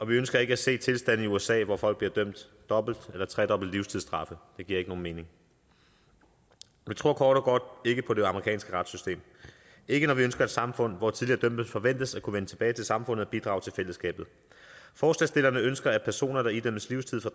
vi ønsker ikke at se tilstande som i usa hvor folk bliver dømt dobbelte eller tredobbelte livstidsstraffe det giver ikke nogen mening vi tror kort og godt ikke på det amerikanske retssystem ikke når vi ønsker et samfund hvor tidligere dømte forventes at kunne vende tilbage til samfundet og bidrage til fællesskabet forslagsstillerne ønsker at personer der idømmes livstid får